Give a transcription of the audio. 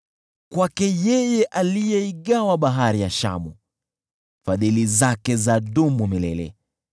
Kwake yeye aliyeigawa Bahari ya Shamu, Fadhili zake zadumu milele .